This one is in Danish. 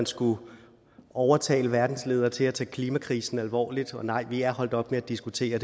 skullet overtale verdens ledere til at tage klimakrisen alvorligt og vi er holdt op med at diskutere